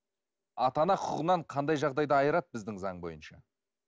ата ана құқығынан қандай жағдайда айырады біздің заң бойынша